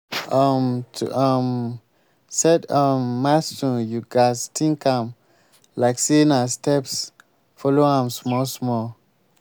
um to um set um milestone you gats think am like sey na steps follow am small small